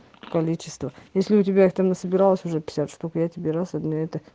количество если у тебя их там не собиралась уже пятьдесят штук я тебе раз обменяю